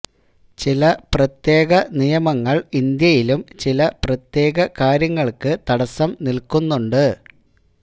ചില പ്രത്യേക നിയമങ്ങള് ഇന്ത്യയിലും ചില പ്രത്യേക കാര്യങ്ങള്ക്ക് തടസം നില്കുന്നുണ്ട്